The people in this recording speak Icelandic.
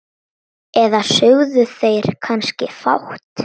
Eða sögðu þeir kannski fátt?